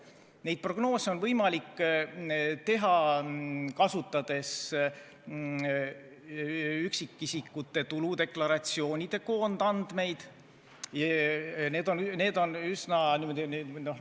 Neid prognoose on võimalik teha, kasutades üksikisikute tuludeklaratsioonide koondandmeid.